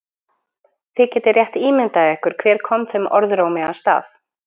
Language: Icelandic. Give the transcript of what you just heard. Þið getið rétt ímyndað ykkur hver kom þeim orðrómi af stað.